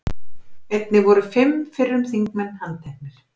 Einnig voru fimm fyrrum þingmenn handteknir